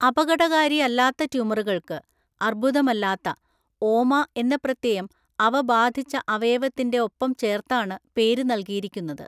അപകടകാരിയല്ലാത്ത ട്യൂമറുകൾക്ക് (അർബുദമല്ലാത്ത) ഓമ എന്ന പ്രത്യയം അവ ബാധിച്ച അവയവത്തിന്റെ ഒപ്പം ചേർത്താണ് പേര് നൽകിയിരിക്കുന്നത്.